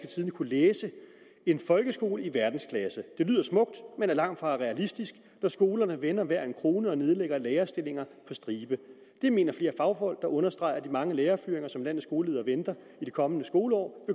tidende kunne læse en folkeskole i verdensklasse det lyder smukt men er langtfra realistisk når skolerne vender hver en krone og nedlægger lærerstillinger på stribe det mener flere fagfolk der understreger at de mange lærerfyringer som landets skoleledere venter i det kommende skoleår